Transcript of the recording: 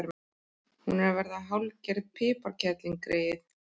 Hún er að verða hálfgerð piparkerling, greyið.